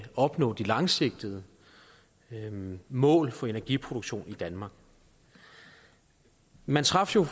opnå de langsigtede mål for energiproduktion i danmark man traf jo